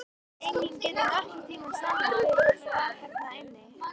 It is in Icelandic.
Enginn getur nokkurn tíma sannað hver var þarna inni!